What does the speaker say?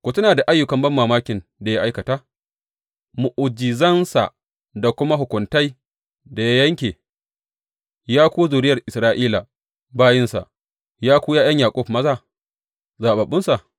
Ku tuna ayyukan banmamakin da ya aikata, mu’ujizansa da kuma hukuntai da ya yanke, Ya ku zuriyar Isra’ila bayinsa, Ya ku ’ya’yan Yaƙub maza, zaɓaɓɓunsa.